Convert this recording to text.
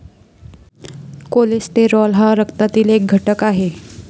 Cholesterol हा रक्तातील एक घटक आहे.